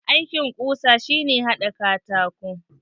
Aikin ƙusa shi ne haɗa katako.